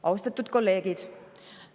Austatud kolleegid!